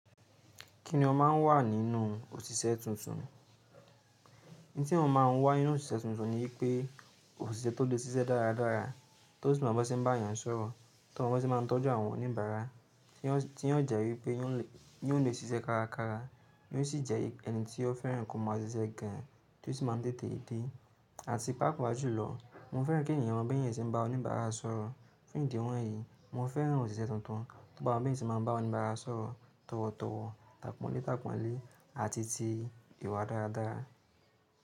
Kí ni ọ máa ń wà nínú òṣìṣẹ́ tuntun? N tí mo máa ń wà nínú òṣìṣẹ́ tuntun ni wípé òṣìṣẹ́ tó lè ṣiṣẹ́ dára dára, tó sì mọ bí wọ́n ṣe ń bá èèyàn sọ̀rọ̀, tó mọ bí wọ́n ṣe máa ń tọ́jú àwọn oníbàárà, tí wọ́n jẹ́ wípé wọn lè ṣe iṣẹ́ kárakára, wọ́n sì jẹ́ ẹni tí ó fẹ́ràn kí wọ́n máa ṣiṣẹ́ gan an tí ó sì máa ń tètè dé. Àti pàápàá jùlọ, mo fẹ́ràn kí èèyàn mọ bí wọn ṣe máa ń bá oníbàárà sọ̀rọ̀. Fún ìdí wọ̀nyí, mo fẹ́ràn òṣìṣẹ́ tuntun tó bá mọ bí wọn ṣe máa ń bá oníbàárà sọ̀rọ̀ tọ̀wọ̀tọ̀wọ̀, tàpọ̀nlétàpọ̀nlé àti ti ìwà dára dára.